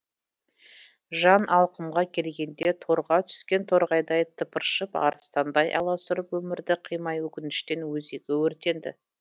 жан алқымға келгенде торға түскен торғайдай тыпыршып арыстандай аласұрып өмірді қимай өкініштен өзегі өртенді